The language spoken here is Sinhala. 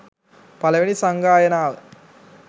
පලවෙනි සංගායනාව